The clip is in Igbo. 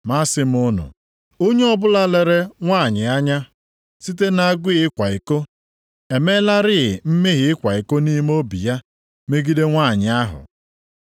Ma asị m unu, onye ọbụla lere nwanyị anya site na-agụụ ịkwa iko emeelarị mmehie ịkwa iko nʼime obi ya megide nwanyị ahụ.